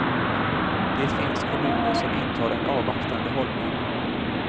Det finns kommuner som intar en avvaktande hållning.